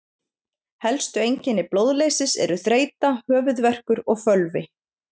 Helstu einkenni blóðleysis eru þreyta, höfuðverkur og fölvi.